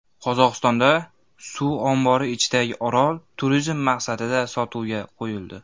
Qozog‘istonda suv ombori ichidagi orol turizm maqsadida sotuvga qo‘yildi.